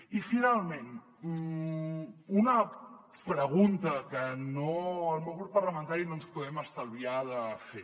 i finalment una pregunta que el meu grup parlamentari no ens podem estalviar de fer